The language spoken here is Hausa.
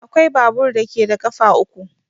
Akwai babur da ke da ƙafa uku.